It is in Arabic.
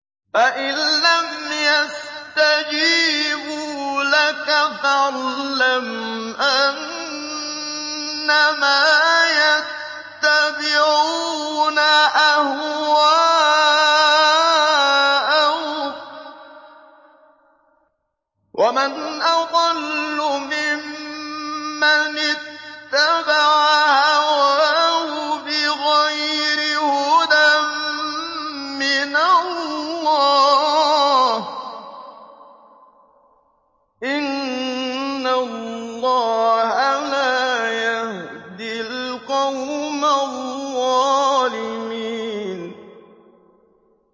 فَإِن لَّمْ يَسْتَجِيبُوا لَكَ فَاعْلَمْ أَنَّمَا يَتَّبِعُونَ أَهْوَاءَهُمْ ۚ وَمَنْ أَضَلُّ مِمَّنِ اتَّبَعَ هَوَاهُ بِغَيْرِ هُدًى مِّنَ اللَّهِ ۚ إِنَّ اللَّهَ لَا يَهْدِي الْقَوْمَ الظَّالِمِينَ